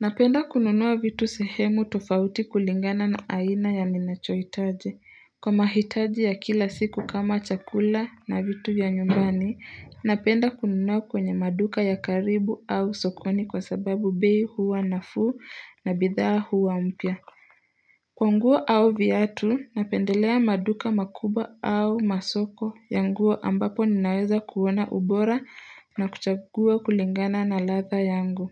Napenda kununua vitu sehemu tofauti kulingana na aina ya ninachohitaji. Kwa mahitaji ya kila siku kama chakula na vitu ya nyumbani, napenda kununua kwenye maduka ya karibu au sokoni kwa sababu bei huwa nafuu na bidhaa huwa mpya. Kwa nguo au viatu, napendelea maduka makubwa au masoko ya nguo ambapo ninaweza kuona ubora na kuchagua kulingana na ladha yangu.